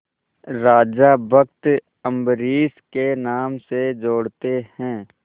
राजा भक्त अम्बरीश के नाम से जोड़ते हैं